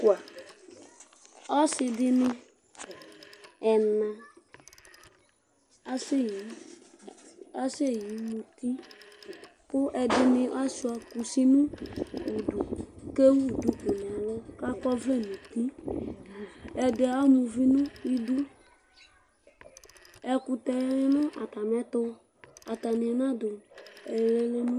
ɔsi ɛna dɩnɩ aseyi muti, kʊ ɛdɩnɩ asiua kusi nʊ udu, kʊ ewu duku nʊ ɛlʊ kʊ akɔ ɔvlɛ nʊ uti, ɛdɩ ama uvi nʊ idu , ɛkutɛ ma nʊ atamiɛtʊ atanɩ nadʊ ɛlɛnuti